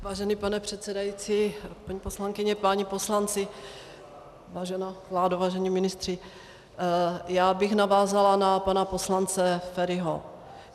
Vážený pane předsedající, paní poslankyně, páni poslanci, vážená vládo, vážení ministři, já bych navázala na pana poslance Feriho.